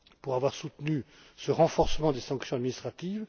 d'avoir soutenu ce renforcement des sanctions administratives.